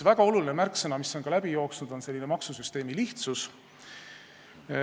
Väga oluline märksõna, mis on ka läbi jooksnud, on maksusüsteemi lihtsus.